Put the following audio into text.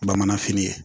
Bamanan fini ye